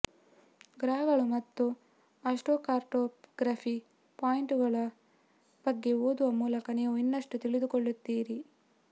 ಗ್ರಹಗಳು ಮತ್ತು ಅಸ್ಟ್ರೋಕಾರ್ಟೊಗ್ರಫಿ ಪಾಯಿಂಟುಗಳ ಬಗ್ಗೆ ಓದುವ ಮೂಲಕ ನೀವು ಇನ್ನಷ್ಟು ತಿಳಿದುಕೊಳ್ಳುತ್ತೀರಿ